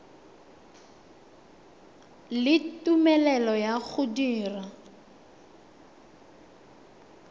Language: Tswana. le tumelelo ya go dira